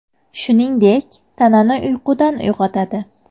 Shuningdek, tanani uyqudan uyg‘otadi.